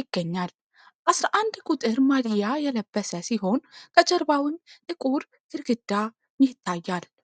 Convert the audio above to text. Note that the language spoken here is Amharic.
ይገኛል ። 11 ቁጥር ማሊያ የለበሰ ሲሆን ከጀርባውም ጥቁር ግርግዳ ይታያል ።